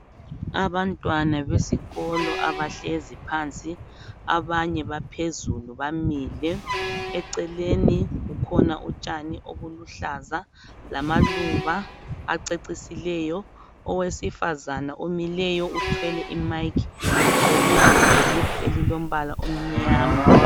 Abantwana besikolo abahlezi phansi abanye baphezulu bamile eceleni kukhona utshani obuluhlaza lamaluba acecisileyo owesifazana omileyo uthwele imike ugqoke inhulungwe elilombala omnyama